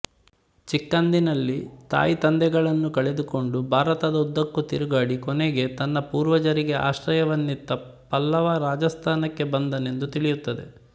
ಚಿಕ್ಕಂದಿನಲ್ಲಿ ತಾಯಿತಂದೆಗಳನ್ನು ಕಳೆದುಕೊಂಡು ಭಾರತದ ಉದ್ದಕ್ಕೂ ತಿರುಗಾಡಿ ಕೊನೆಗೆ ತನ್ನ ಪೂರ್ವಜರಿಗೆ ಆಶ್ರಯವನ್ನಿತ್ತ ಪಲ್ಲವ ರಾಜಾಸ್ಥಾನಕ್ಕೆ ಬಂದನೆಂದು ತಿಳಿಯುತ್ತದೆ